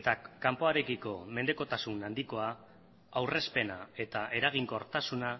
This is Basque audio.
eta kanpoarekiko mendekotasun handikoa aurrezpena eta eraginkortasuna